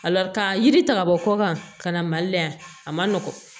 ka yiri ta ka bɔ kɔkan ka na mali la yan a man nɔgɔn